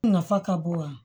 Nafa ka bon wa